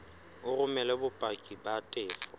o romele bopaki ba tefo